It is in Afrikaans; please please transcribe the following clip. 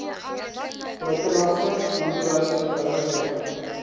buitelandse boerdery bedrywighede